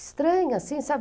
Estranho assim, sabe?